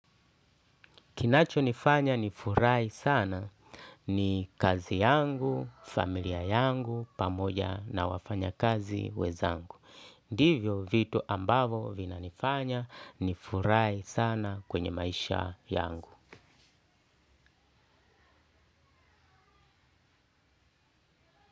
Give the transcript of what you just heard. Kinacho nifanya nifurahi sana ni kazi yangu, familia yangu, pamoja na wafanya kazi wenzangu. Ndivyo vitu ambavo vinanifanya nifurahi sana kwenye maisha yangu.